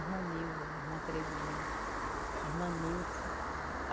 Irmã Neuda, irmã Terezinha, irmã Nilce.